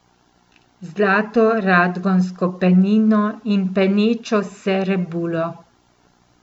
Zlato radgonsko penino in penečo se rebulo.